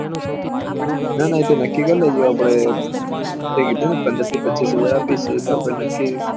ના ના એ તો નક્કી કર લેજો આપળે તુંકીધું ને પંદર થી પછીસ હાજર આપીશ તો એ હિસાબ આપીશ